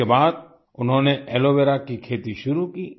इसके बाद उन्होंने एलोवेरा की खेती शुरू की